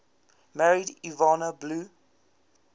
married yvonne blue